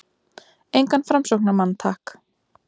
Engan framsóknarmann- takk!